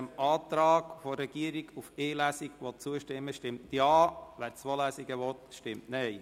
Wer dem Antrag der Regierung auf die Durchführung von einer einzigen Lesung zustimmen will, stimmt Ja, wer zwei Lesungen will, stimmt Nein.